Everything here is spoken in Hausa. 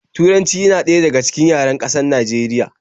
Turanci yana ɗaya daga cikin yaren ƙasar Najeriya